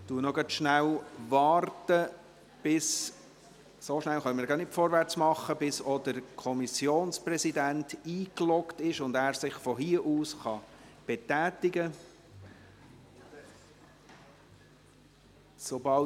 Ich warte gerade noch, bis auch der Kommissionspräsident eingeloggt ist und er sich von hier aus betätigen kann.